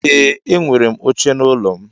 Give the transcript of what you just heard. Ee enwerem oche na ụlọ mu.